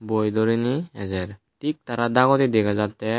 boi durine ejer tik tara dagodi dega jatte.